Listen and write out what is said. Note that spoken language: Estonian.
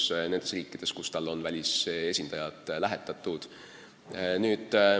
Seda muidugi nendes riikides, kuhu tal on välisesindajad lähetatud.